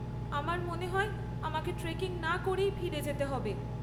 আমার মনে হয় আমাকে ট্রেকিং না করেই ফিরে যেতে হবে।